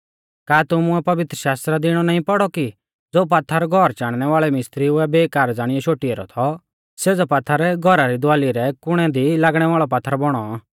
का तुमुऐ पवित्रशास्त्रा दी इणौ नाईं पौड़ौ कि ज़ो पात्थर घौर चाणनै वाल़ै मिसत्रिउ ऐ बेकार ज़ाणियौ शोटी ऐरौ थौ सेज़ौ पात्थर घौरा री दवाली रै कुणै दी लागणै वाल़ौ पात्थर बौणौ